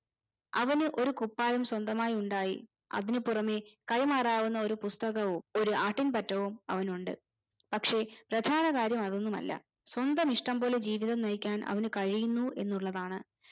അവന് ഒരു കുപ്പായം സ്വന്തമായി ഉണ്ടായി അതിനു പുറമെ കൈമാറാവുന്ന ഒരു പുസ്തകവും ഒര് ആട്ടിൻപറ്റവും അവനുണ്ട് പക്ഷെ പ്രധാന കാര്യം അതൊന്നുമല്ല സ്വന്തം ഇഷ്ടം പോലെ ജീവിതം നയിക്കാൻ അവനു കഴിയുന്നു എന്നുള്ളതാണ്